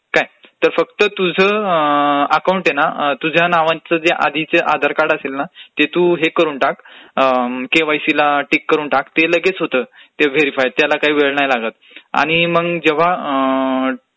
तर काय फक्त तुझं अकाऊंट आहे ना ते तुझ्या नावानी तुझं आधार कार्ड असेल ना तर ते तू हे करून टाक केवायसी ला टीक करून टाक, केलं की लगेच होत व्हेरीफाय त्याला काय वेळ नाही लागतं, आणि मंग जेव्हा